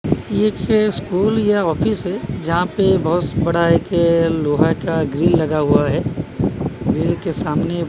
यह स्कूल या ऑफिस है जहां पे बहुत बड़ा है कि लोहा का ग्रिल लगा हुआ है ग्रिल के सामने--